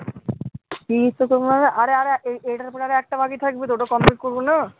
আরে আরে এইটার পরে আর একটা বাকি থাকবে ওটা complete করবে না